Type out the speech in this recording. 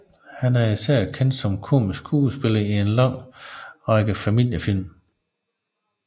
Han er især kendt som komisk skuespiller i en lang række familiefilm